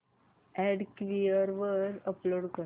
add Quikr वर upload कर